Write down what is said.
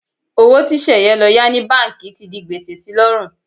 Owó tí Sẹ̀yẹ lọ yá ní báǹkì ti di gbèsè si lọ́rùn.